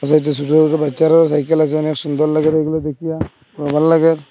ছোট ছোট বাচ্চারও সাইকেল আসে অনেক সুন্দর লাগে এগুলো দেখিয়া বা ভাললাগে।